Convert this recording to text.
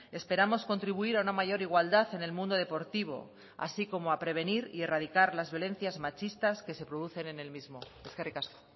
esperamos contribuir a una mayor igualdad en el mundo deportivo así como a prevenir y a erradicar las violencias machistas que se producen en el mismo eskerrik asko